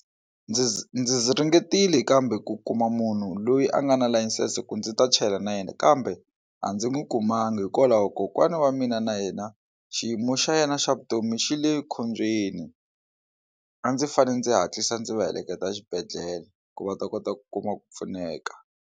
Ndzi ndzi ringetile kambe ku kuma munhu loyi a nga na layisense ku ndzi ta chela na yena kambe a ndzi n'wi kumanga hikwalaho kokwana wa mina na yena xiyimo xa yena xa vutomi xi le khombyeni a ndzi fanele ndzi hatlisa ndzi va heleketa exibedhlele ku va ta kota ku kuma ku pfuneka.